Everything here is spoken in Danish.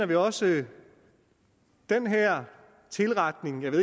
vi også den her tilretning af det